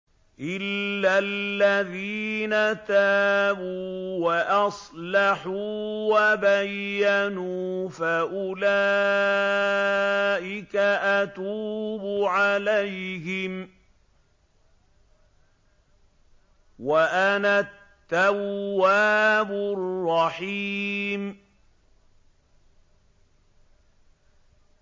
إِلَّا الَّذِينَ تَابُوا وَأَصْلَحُوا وَبَيَّنُوا فَأُولَٰئِكَ أَتُوبُ عَلَيْهِمْ ۚ وَأَنَا التَّوَّابُ الرَّحِيمُ